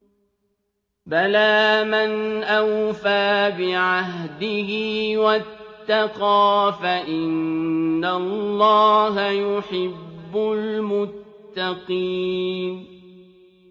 بَلَىٰ مَنْ أَوْفَىٰ بِعَهْدِهِ وَاتَّقَىٰ فَإِنَّ اللَّهَ يُحِبُّ الْمُتَّقِينَ